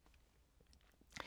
DR K